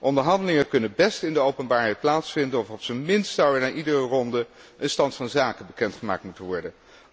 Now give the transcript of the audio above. Onderhandelingen kunnen best in de openbaarheid plaatsvinden, of op zijn minst zou er na iedere ronde een stand van zaken bekend gemaakt moeten